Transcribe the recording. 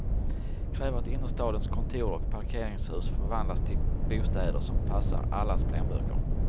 Kräv att innerstadens kontor och parkeringshus förvandlas till bostäder som passar allas plånböcker.